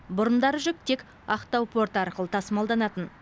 бұрындары жүк тек ақтау порты арқылы тасымалданатын